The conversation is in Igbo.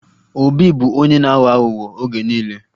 Obi bụ onye na-aghọ aghụghọ oge niile